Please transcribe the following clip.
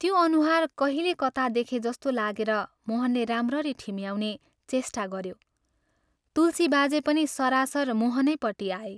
त्यो अनुहार कहिले कता देखेजस्तो लागेर मोहनले राम्ररी ठिम्याउने चेष्टा गऱ्यो तुलसी बाजे पनि सरासर मोहनैपट्टि आए।